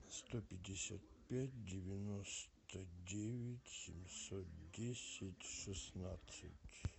сто пятьдесят пять девяносто девять семьсот десять шестнадцать